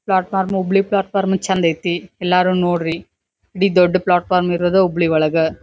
Plot form Hubli platform ಚಂದ್ ಐತಿ ಎಲ್ಲಾರು ನೋಡ್ರಿ ಇಡೀ ದೊಡ್ಡ ಪ್ಲಾಟ್ ಫಾರಂ ಇರೋದ್ ಹುಬ್ಳಿ ಒಳಗ್.